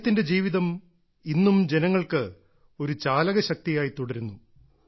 അദ്ദേഹത്തിന്റെ ജീവിതം ഇന്നും ജനങ്ങൾക്ക് ഒരു ചാലകശക്തിയായി തുടരുന്നു